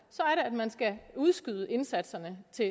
man skal udskyde indsatserne til